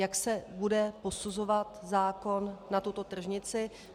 Jak se bude posuzovat zákon na tuto tržnici?